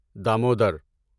Damodar